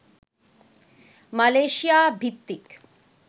Malaysia ভিত্তিক